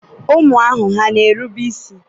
ụmụ ahụ hà na-erube isi?